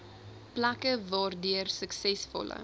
plekke waardeur suksesvolle